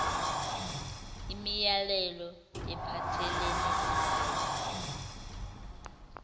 imilayelo ephathelene nalawo